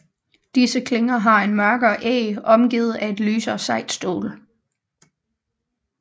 Disse klinger har en mørkere æg omgivet af et lysere sejt stål